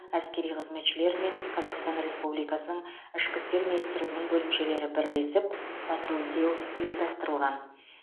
әскери қызметшілер мен қазақстан республикасының ішкі істер министрлігінің бөлімшелері бірлесіп патрульдеу ұйымдастырылған